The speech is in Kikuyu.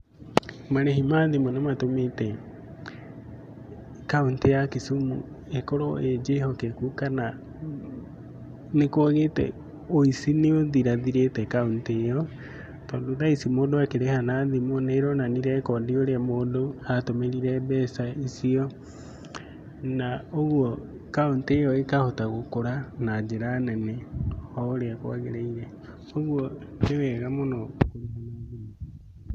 Marĩhi ma thimu nĩ matũmite kaũntĩ ya Kisumu ĩkorwo ĩ njĩhokeku kana ni kwagĩte, ũici nĩ ũthirathirĩte kaũntĩ iyo, tondũ thaa ici mũndũ akĩrĩha na thimũ nĩ ĩronania rekondi ũrĩa mũndũ atũmĩrire mbeca icio. Na ũguo kaũnti ĩyo ĩkahota gũkũra na njĩra nene oũrĩa kwagĩrĩire. Ũguo nĩ wega mũno kũrĩha na thimũ